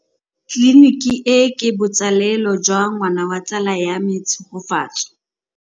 Tleliniki e, ke botsalêlô jwa ngwana wa tsala ya me Tshegofatso.